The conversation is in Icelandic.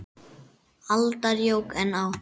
aldar jók enn á.